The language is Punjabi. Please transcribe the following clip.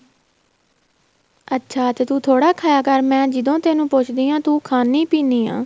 ਅੱਛਾ ਤੇ ਤੂੰ ਥੋੜਾ ਖਾਇਆ ਕਰ ਮੈਂ ਜਦੋਂ ਤੈਨੂੰ ਪੁੱਛਦੀ ਆ ਤੂੰ ਖਾਣੀ ਪੀਣੀ ਆ